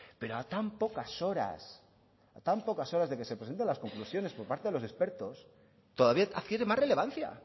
pero a tan pocas horas de que se presenten las conclusiones por parte de los expertos todavía adquiere más relevancia